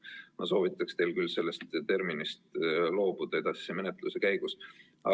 Ma soovitaks teil küll sellest terminist edasise menetluse käigus loobuda.